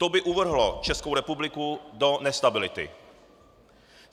To by uvrhlo Českou republiku do nestability.